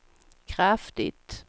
kraftigt